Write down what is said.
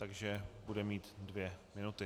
Takže bude mít dvě minuty.